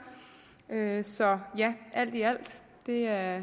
så ja det er